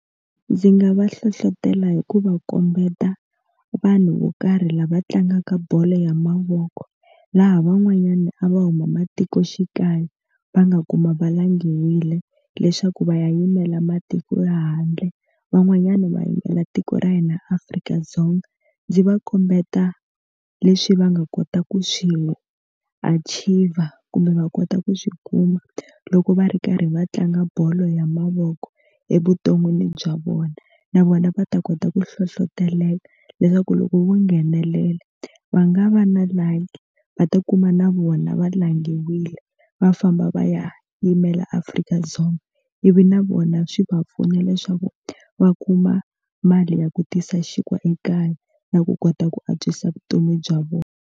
Ndzi nga va hlohlotela hi ku va kombeta vanhu vo karhi lava tlangaka bolo ya mavoko laha van'wanyana a va huma matikoxikaya va nga kuma va langile leswaku va ya yimela matiko ya handle van'wanyana va yimela tiko ra hina Afrika-Dzonga ndzi va kombeta leswi va nga kota ku swirho achiever kumbe va kota ku swi kuma loko va ri karhi va tlanga bolo ya mavoko evuton'wini bya vona na vona va ta kota ku hlohloteleka leswaku loko vo nghenelela va nga va na like va ta kuma na vona va langutiwile va famba va ya yimela afrika dzonga ivi na vona swi va pfuna leswaku va kuma mali ya ku tisa xinkwa ekaya na ku kota ku antswisa vutomi bya vona.